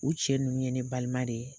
U cɛ nunnu ye ne balima de ye.